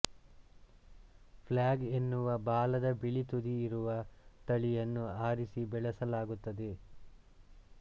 flag ಎನ್ನುವ ಬಾಲದ ಬಿಳಿ ತುದಿಯಿರುವ ತಳಿಯನ್ನು ಆರಿಸಿ ಬೆಳೆಸಲಾಗುತ್ತದೆ